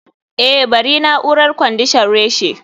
eh bari na'urar kwandishan reshe